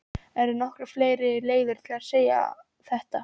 Eru nokkuð fleiri leiðir til að segja þetta?